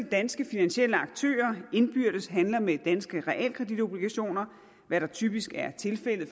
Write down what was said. danske finansielle aktører indbyrdes handler med danske realkreditobligationer hvad der typisk er tilfældet